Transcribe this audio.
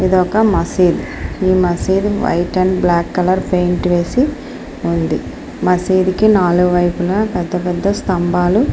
ఇదొక మసీద్ . ఈ మసీద్ white and black colour paint వేసి ఉంది. మసీదు కి నాలుగు వైపులా పెద్ద పెద్ద స్తంభాలు --